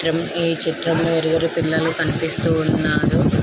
చిత్రంఈ చిత్రం లో నలుగురు పిల్లలు కనిపిస్తూ ఉన్నారు.